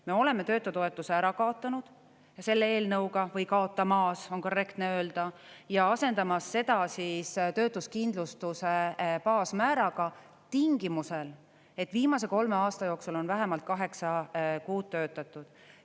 Me oleme töötutoetuse ära kaotanud selle eelnõuga või kaotamas, on korrektne öelda, ja asendamas seda töötuskindlustuse baasmääraga tingimusel, et viimase kolme aasta jooksul on vähemalt kaheksa kuud töötatud.